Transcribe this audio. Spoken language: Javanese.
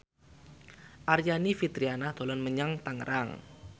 Aryani Fitriana dolan menyang Tangerang